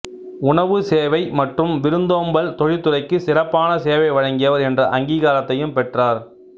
உணவு சேவை மற்றும் விருந்தோம்பல் தொழிற்துறைக்கு சிறப்பான சேவை வழங்கியவர் என்ற அங்கீகாரத்தையும் பெற்றார்